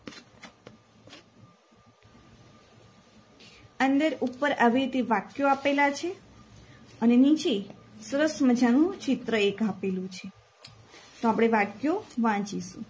અંદર ઉપર આવી રીતે વાક્યો આપેલા છે અને નીચે સરસ મજાનું ચિત્ર એક આપેલું છે. તો આપણે વાક્યો વાંચીએ